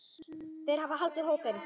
Þeir hafa haldið hópinn.